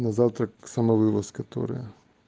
на завтрак самовывоз которая